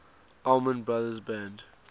allman brothers band